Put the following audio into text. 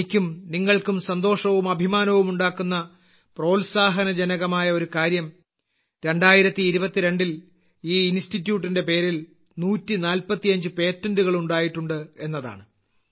എനിക്കും നിങ്ങൾക്കും സന്തോഷവും അഭിമാനവും ഉണ്ടാക്കുന്ന പ്രോത്സാഹജനകമായ ഒരു കാര്യം 2022ൽ ഈ ഇൻസ്റ്റിറ്റ്യൂട്ടിന്റെ പേരിൽ 145 പേറ്റന്റുകൾ ഉണ്ടായിട്ടുണ്ട് എന്നതാണ്